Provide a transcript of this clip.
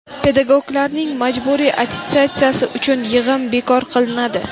Pedagoglarning majburiy attestatsiyasi uchun yig‘im bekor qilinadi.